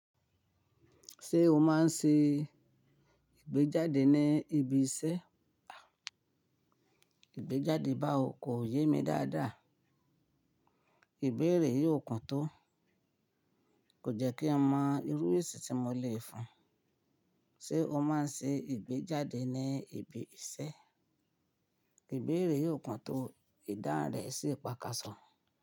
Ṣé o máa ń ṣe ìgbéjáde ní ibi iṣẹ́? Ìgbéjáde báwo? Kò yé mi dáadáa. Ìbéèrè yìí ò kún tó. Kò jẹ́ kí n mọ irú èsì tí mo lè fún. Ṣé o máa ń ṣe ìgbéjáde ní ibi iṣẹ́? Ìbéèrè yìí ò kún tó. Idáhun rẹ̀ sì pakàsọ̀.